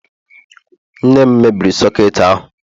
nne m mebiri soketi ahu